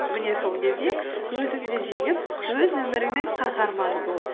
міне сол кезде өзіңді жеңіп өз өміріңнің қаһарманы бол